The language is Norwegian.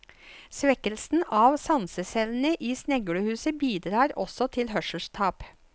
Svekkelsen av sansecellene i sneglehuset bidrar også til hørselstap.